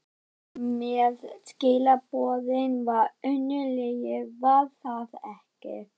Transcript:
En þetta með skilaboðin var önnur lygi, var það ekki?